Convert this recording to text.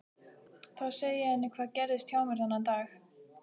Þá segi ég henni hvað gerðist hjá mér þennan dag.